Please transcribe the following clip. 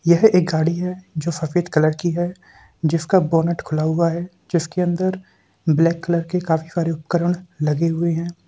यह एक गाड़ी है जो सफ़ेद कलर की है जिसका बोनेट खुला हुआ है जिसके अंदर ब्लैक कलर के काफी सारे उपकरण लगे हुए है।